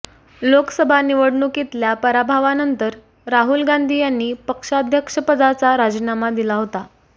लोकसभा निवडणुकीतल्या पराभवानंतर राहुल गांधी यांनी पक्षाध्यक्षपदाचा राजीनामा दिला होता